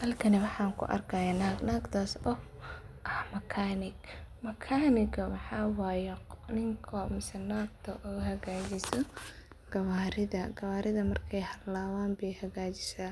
Halkani waxan ku arkaya naag, naagtaso ah makanig. Makaniga waxa waye ninko mise nagto oo hagajiso gawaridha markay halawan baay hagajisa